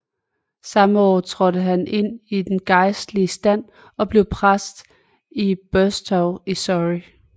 Samme år trådte han ind i den gejstlige stand og blev præst i Burstow i Surrey